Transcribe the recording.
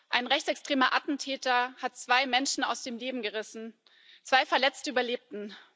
Ein rechtsextremer Attentäter hat zwei Menschen aus dem Leben gerissen, zwei Verletzte überlebten.